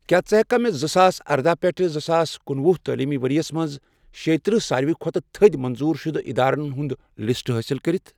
کیٛاہ ژٕ ہیٚککھا مےٚ زٕساس اردہَ پیٹھ زٕساس کنُۄہُ تعلیٖمی ورۍ یَس مَنٛز شےتٔرہ ساروی کھۄتہٕ تٔھدۍ منظوٗر شدٕ اِدارن ہِنٛز لسٹ حٲصِل کٔرتھ؟